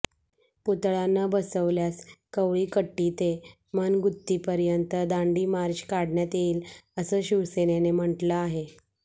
पुतळा न बसवल्यास कवळी कट्टी ते मनगुत्तीपर्यंत दांडी मार्च काढण्यात येईल असं शिवसेनेने म्हटलं आहे